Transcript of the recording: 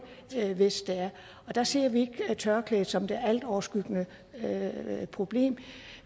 hvis det er der ser vi ikke tørklædet som det altoverskyggende problem